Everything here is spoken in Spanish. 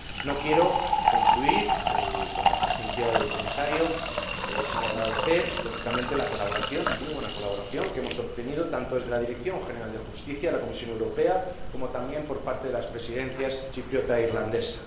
No quiero concluir, con la presencia del Comisario, sin agradecer, lógicamente la colaboración, muy buena colaboración, que hemos obtenido tanto de la Dirección General de Justicia de la Comisión Europea como también de las Presidencias chipriota e irlandesa.